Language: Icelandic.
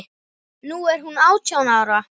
Nú er hún átján ára.